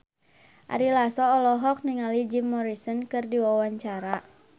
Ari Lasso olohok ningali Jim Morrison keur diwawancara